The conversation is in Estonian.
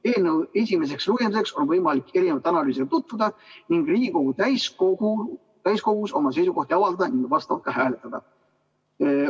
Eelnõu esimeseks lugemiseks on võimalik erinevate analüüsidega tutvuda ning Riigikogu täiskogus oma seisukohti avaldada ning vastavalt ka hääletada.